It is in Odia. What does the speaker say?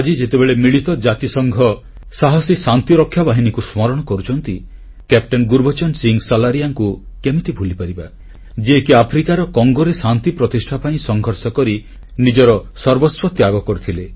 ଆଜି ଯେତେବେଳେ ମିଳିତ ଜାତିସଂଘର ସାହସୀ ଶାନ୍ତିରକ୍ଷା ବାହିନୀକୁ ସ୍ମରଣ କରୁଛୁ କ୍ୟାପଟେନ୍ ଗୁରୁବଚନ ସିଂହ ସଲାରିୟାଙ୍କୁ କେମିତି ଭୁଲିପାରିବା ଯିଏକି ଆଫ୍ରିକାର କଙ୍ଗୋରେ ଶାନ୍ତି ପ୍ରତିଷ୍ଠା ପାଇଁ ସଂଘର୍ଷ କରି ନିଜର ସର୍ବସ୍ୱ ତ୍ୟାଗ କରିଥିଲେ